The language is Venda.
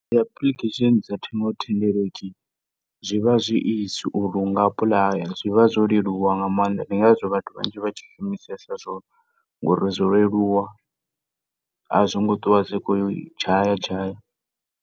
Dzi application dza ṱhingothendeleki zwivha zwi easy uri unga apply, zwivha zwo leluwa nga maanḓa. Ndi ngazwo vhathu vhanzhi vhatshi shumisesa zwone ngori zwo leluwa a zwi ngo .